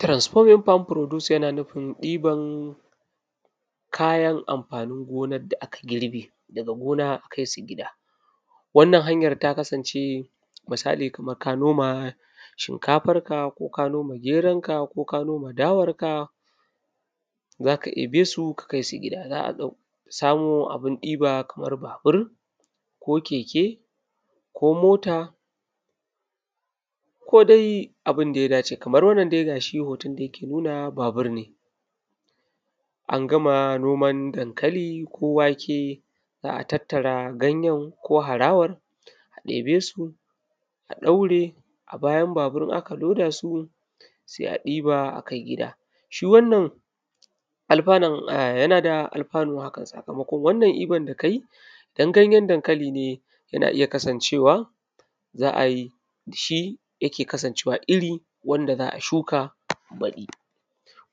transforming farm produce yana nufin ɗiban kayan amfanin gonan da aka girbe daga gona akai su gida wannan hanyar ta kasance misali kaman ka noma shinkafarka ko geronka ko ka noma da warka za ka ɗebe su za ka kai su gida za a samo abun ɗiba kamar babur ko keke ko mota ko dai abun da ya dace kamar wannan dai ga shi hoton da ja ke nuna babur ne an gama noman dankali ko wake za a tattara ganjen ko harawan a ɗebesu a ɗaure a bayan babur in aka loda su sai a ɗiba a kai gida shi wannan alfanun yana da alfanu haka sakamakon wannan ɗiban da kaji ɗan ganjen dankaƙali ne yana iya kasancewa za ai dafa yake kasancewa irin wanda zaa shuka baɗi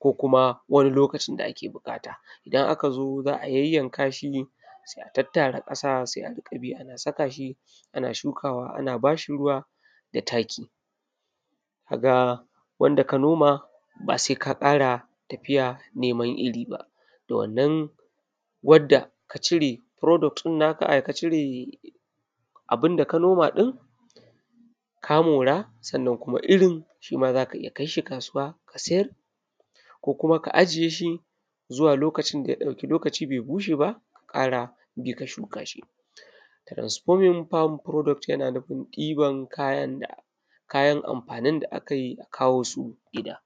ko kuma wani lokacin da ake buƙata idan aka zo zaa yanyanka shi sai a tattara ƙasa sai a riƙa bi ana saka shi ana shukawa ana bashi ruwa da taki kaga wanda ka noma ba sai ka ƙara tafija neman iri ba da wannan wanda ka cire product ɗin naka da ka cire abun da ka noma din ka mora sannan kuma irin shima zaka iya kai shi kasuwa ka siyar ko kuma ka ajiye shi zuwa lokacin da ya ɗauki lokacin bai buce ba ka ƙara bi ka shuka transforming farm product jana nufin ɗiban kayan amfanin da aka kawo su gida